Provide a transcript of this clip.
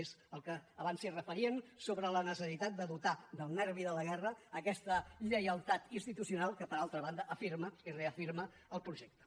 és al que abans es referien sobre la necessitat de dotar del nervi de la guerra aquesta lleialtat institucional que per altra banda afirma i reafirma el projecte